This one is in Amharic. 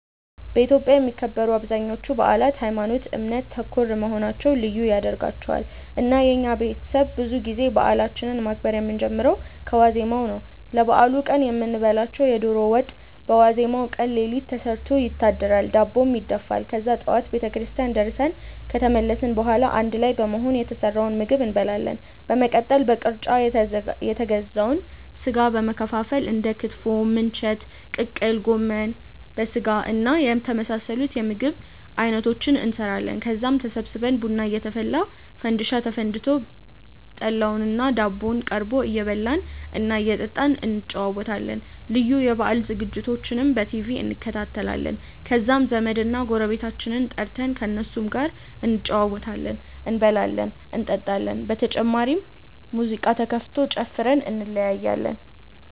በኢትዮጵያ የሚከበሩ አብዛኞቹ በአላት ሀይማኖት ( እምነት) ተኮር መሆናቸው ልዩ ያደርጋቸዋል። እና የኛ ቤተሰብ ብዙ ጊዜ በአላችንን ማክበር የምንጀምረው ከዋዜማው ነው። ለበአሉ ቀን የምንበላውን የዶሮ ወጥ በዋዜማው ቀን ሌሊት ተሰርቶ ይታደራል፤ ዳቦም ይደፋል። ከዛ ጠዋት ቤተክርስቲያን ደርሰን ከተመለስን በኋላ አንድ ላይ በመሆን የተሰራውን ምግብ እንመገባለን። በመቀጠል በቅርጫ የተገዛውን ስጋ በመከፋፈል እንደ ክትፎ፣ ምንቸት፣ ቅቅል፣ ጎመን በስጋና የመሳሰሉት የምግብ አይነቶችን እንሰራለን። ከዛም ተሰብስበን ቡና እየተፈላ፣ ፈንዲሻ ተፈንድሶ፣ ጠላውና ዳቦው ቀርቦ እየበላን እና እየጠጣን እንጨዋወታለን። ልዩ የበአል ዝግጅቶችንም በቲቪ እንከታተላለን። ከዛም ዘመድና ጎረቤቶቻችንን ጠርተን ከእነሱም ጋር እንጨዋወታለን፤ እንበላለን እንጠጣለን። በመጨረሻም ሙዚቃ ተከፍቶ ጨፍረን እንለያያለን።